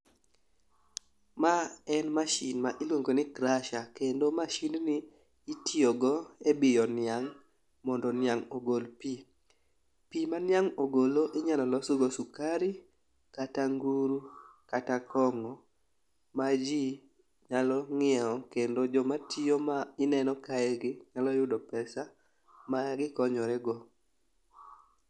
Ma en mashin ma iluongo ni crusher kendo mashindni itiyogo e biyo niang' mondo niang' ogol pi. Pi ma niang' ogolo inyalo losgo sukari kata nguru kata kong'o ma ji nyalo ng'iewo kendo jomatiyo ma ineno kaegi nyalo yudo pesa magikonyorego.